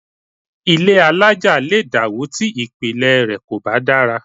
Ilé alájà lè dàwó tí ìpìlẹ̀ rẹ̀ kò bá dára